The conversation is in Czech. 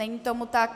Není tomu tak.